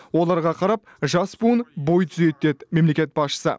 оларға қарап жас буын бой түзейді деді мемлекет басшысы